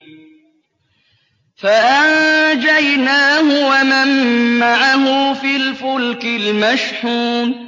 فَأَنجَيْنَاهُ وَمَن مَّعَهُ فِي الْفُلْكِ الْمَشْحُونِ